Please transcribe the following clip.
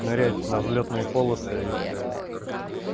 нырять на взлётной полосы ептэ